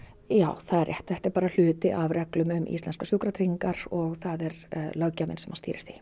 já það er rétt þetta er bara hluti af reglum um íslenskar sjúkratryggingar og það er löggjafinn sem stýrir því